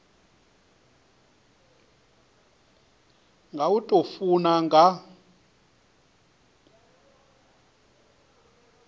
nga u tou funa nga